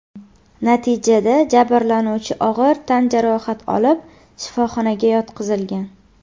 Natijada jabrlanuvchi og‘ir tan jarohati olib shifoxonaga yotqizilgan.